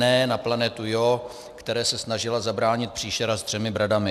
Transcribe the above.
Ne na planetu Jo, které se snažila zabránit příšera s třemi bradami.